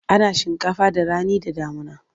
Ana shinkafa da rani da damuna.